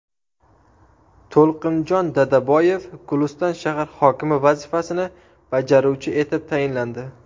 To‘lqinjon Dadaboyev Guliston shahar hokimi vazifasini bajaruvchi etib tayinlandi.